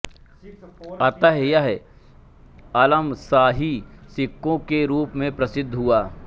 अतः यह आलमशाही सिक्कों के रूप में प्रसिद्ध हुआ